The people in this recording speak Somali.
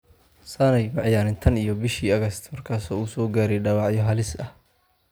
Sane ma ciyaarin tan iyo bishii August markaasoo uu soo gaaray dhaawacyo halis ah.